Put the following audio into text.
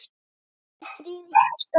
Farðu í friði hjartað mitt.